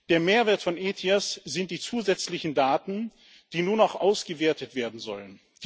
Der Mehrwert von ETIAS sind die zusätzlichen Daten, die nun auch ausgewertet werden sollen.